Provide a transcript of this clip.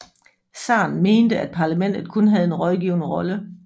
Zaren mente at parlamentet kun havde en rådgivende rolle